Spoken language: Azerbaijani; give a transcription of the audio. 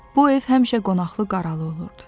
Bu ev həmişə qonaqlı-qaralı olurdu.